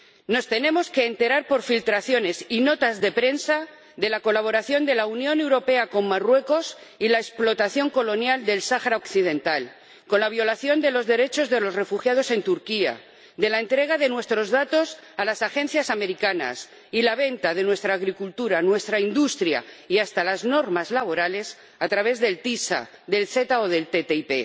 Nos tenemos que enterar por filtraciones y notas de prensa de la colaboración de la Unión Europea con Marruecos y de la explotación colonial del Sáhara Occidental, de la violación de los derechos de los refugiados en Turquía, de la entrega de nuestros datos a las agencias americanas y de la venta de nuestra agricultura, nuestra industria y hasta las normas laborales a través del ACS, del AECG o de la ATCI.